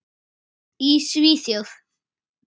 Í Svíþjóð